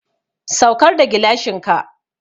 Saukar da gilashin ka!